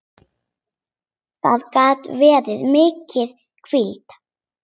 Það gat verið mikil hvíld.